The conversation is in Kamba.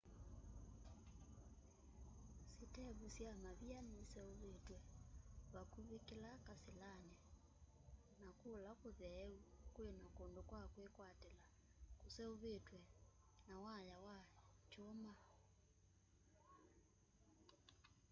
sĩtevu sya mavia niseũvĩtw'e vakũvĩ kĩla kasĩlanĩ na kũla kũtheeũ kwĩna kũndũ kwa kwĩkwatĩla kũseũvĩtw'e na waya wa kyũma